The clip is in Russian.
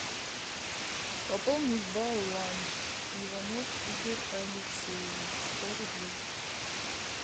пополнить баланс иванов игорь алексеевич сто рублей